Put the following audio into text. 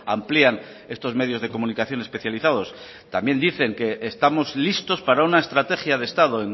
amplían estos medios de comunicación especializados también dicen que estamos listos para una estrategia de estado